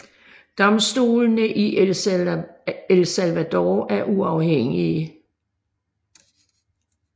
Domstolene i El Salvador er uafhængige